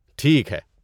ٹھیک ہے۔